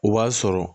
O b'a sɔrɔ